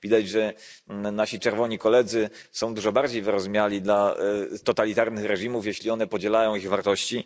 Widać, że nasi czerwoni koledzy są dużo bardziej wyrozumiali dla totalitarnych reżimów, jeśli one podzielają ich wartości.